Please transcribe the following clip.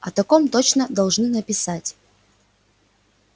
о таком точно должны написать